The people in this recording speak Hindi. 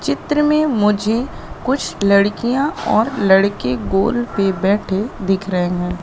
चित्र में मुझे कुछ लड़कियां और लड़के गोल पे बैठे दिख रहे हैं।